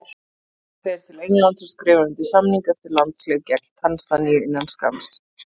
Hann fer til Englands og skrifar undir samning eftir landsleik gegn Tansaníu innan skamms.